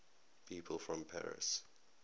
people from paris